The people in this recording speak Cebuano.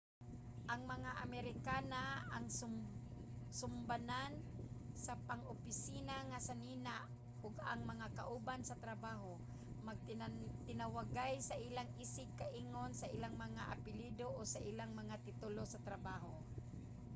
ang mga amerikana ang sumbanan sa pang-opisina nga sinina ug ang mga kauban sa trabaho magtinawagay sa ilang isig ka-ingon sa ilang mga apelyido o sa ilang mga titulo sa trabaho